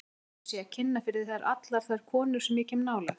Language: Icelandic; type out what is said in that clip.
Heldurðu að ég sé að kynna fyrir þér allar þær konur sem ég kem nálægt?